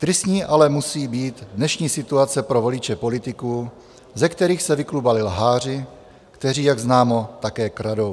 Tristní ale musí být dnešní situace pro voliče politiků, ze kterých se vyklubali lháři, kteří jak známo také kradou.